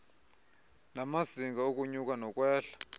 namazinga okunyuka nokwehla